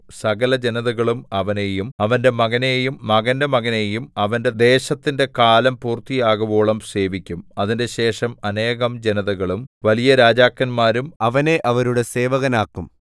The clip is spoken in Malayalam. സകലജനതകളും അവനെയും അവന്റെ മകനെയും മകന്റെ മകനെയും അവന്റെ ദേശത്തിന്റെ കാലം പൂർത്തിയാകുവോളം സേവിക്കും അതിന്‍റെശേഷം അനേകം ജനതകളും വലിയ രാജാക്കന്മാരും അവനെ അവരുടെ സേവകനാക്കും